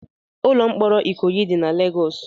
Ụlọ mkpọrọ Ikoyi dị na Legọs.